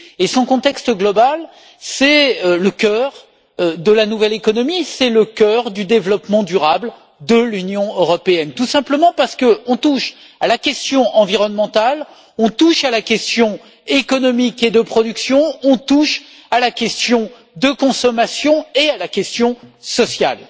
Son contexte global, c'est le cœur de la nouvelle économie, c'est le cœur du développement durable de l'Union européenne, tout simplement parce qu'on touche à la question environnementale, on touche à la question économique et de production, on touche à la question de consommation et à la question sociale.